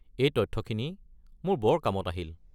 এই তথ্যখিনি মোৰ বৰ কামত আহিল।